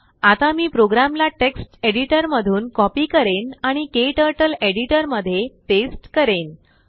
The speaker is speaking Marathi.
आता मी प्रोग्रामला टेक्स्ट एडिटरमधून कॉपी करेन आणिKTurtleएडिटरमध्ये पेस्ट करेन